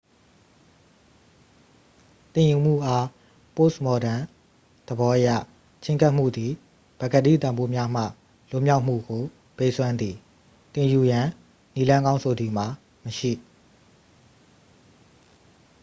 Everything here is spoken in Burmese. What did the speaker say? သင်ယူမှုအား ပို့စ်မော်ဒန်သဘောအရ ချဉ်းကပ်မှုသည် ပကတိတန်ဖိုးများမှ လွတ်မြောက်မှုကို ပေးစွမ်းသည် သင်ယူရန် နည်းလမ်းကောင်းဆိုသည်မှာ မရှိ